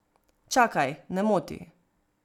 Čakaj, ne moti.